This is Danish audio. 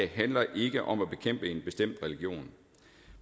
handler ikke om at bekæmpe en bestemt religion